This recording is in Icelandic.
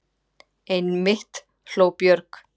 Einmitt, hló Björg.